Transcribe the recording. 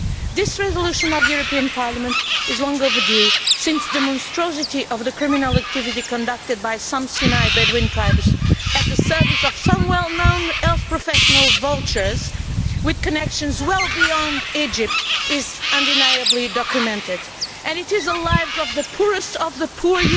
This resolution of the European Parliament is long overdue, since the monstrosity of the criminal activity conducted by some Sinai Bedouin tribes, at the service of some well known health professional vultures with connections well beyond Egypt, is undeniably documented, and it is the poorest of the poor